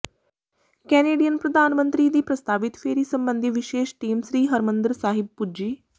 Canadian ਪ੍ਰਧਾਨ ਮੰਤਰੀ ਦੀ ਪ੍ਰਸਤਾਵਿਤ ਫੇਰੀ ਸਬੰਧੀ ਵਿਸ਼ੇਸ਼ ਟੀਮ ਸ੍ਰੀ ਹਰਿਮੰਦਰ ਸਾਹਿਬ ਪੁੱਜੀ